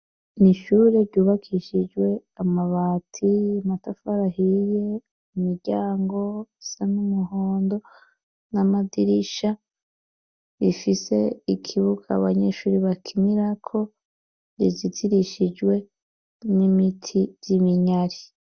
N'ishure ryubakishijwe amabati, amatafara ahiye, imiryango asa n'umuhondo ,n'amadirisha, bifise ikibuka abanyeshuri bakinira ko rizitirishijwe n'ibiti vy'iminyari.